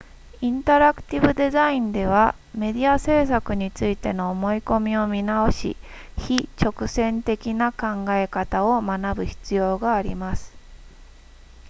インタラクティブデザインではメディア制作についての思い込みを見直し非直線的な考え方を学ぶ必要があります